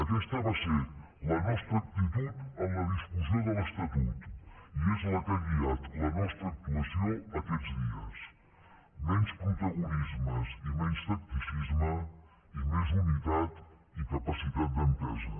aquesta va ser la nostra actitud en la discussió de l’estatut i és la que ha guiat la nostra actuació aquests dies menys protagonismes i menys tacticisme i més unitat i capacitat d’entesa